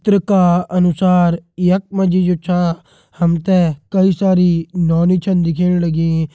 चित्र का अनुसार यखमा जी जो छा हमते कई सारी नोनी छन दिखेंण लगीं।